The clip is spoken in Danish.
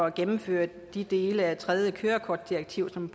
at gennemføre de dele af det tredje kørekortdirektiv som